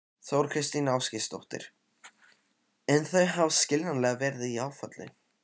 Þóra Kristín Ásgeirsdóttir: En þau hafa skiljanlega verið í áfalli?